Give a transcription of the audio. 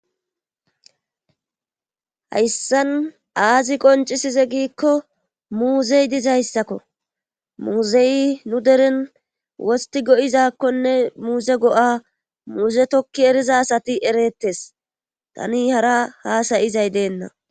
hayssan aazi qoncisize giikko muuzey dizayssakko muuzeyi nu deren wosti go7izakkonne muuze go7a muuze tokki eriza asati erettes tani hara haasayizay deenna